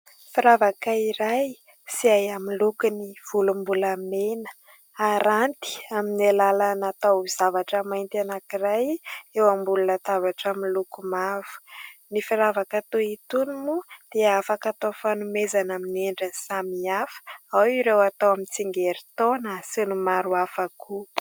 Firavaka iray izay amin'ny lokony volombolamena aranty amin'ny alalana taozavatra mainty anankiray eo ambony latabatra miloko mavo. Ny firavaka toy itony moa dia afaka atao fanomezana amin'ny endrin'ny samihafa, ao ireo atao amin'ny tsingerin-taona sy ny maro hafa koa.